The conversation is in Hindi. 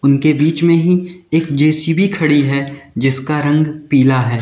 उनके बीच में ही एक जे_सी_बी खड़ी है। जिसका रंग पीला है।